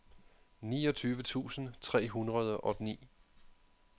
niogtyve tusind tre hundrede og ni